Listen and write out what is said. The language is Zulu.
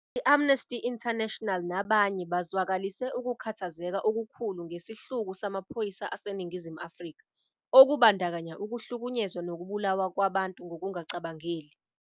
I-Amnesty International nabanye bazwakalise ukukhathazeka okukhulu ngesihluku samaphoyisa aseNingizimu Afrika, okubandakanya ukuhlukunyezwa nokubulawa kwabantu ngokungacabangeli.